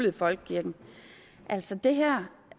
i folkekirken altså det her